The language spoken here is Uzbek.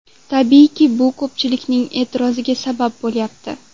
Tabiiyki, bu ko‘pchilikning e’tiroziga sabab bo‘lyapti.